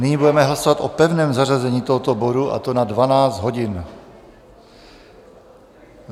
Nyní budeme hlasovat o pevném zařazení tohoto bodu, a to na 12 hodin.